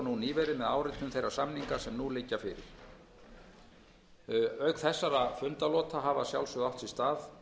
nýverið með áritun þeirra samninga sem nú liggja fyrir auk þessara fundalota hafa að